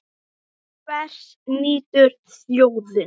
Og hvers nýtur þjóðin?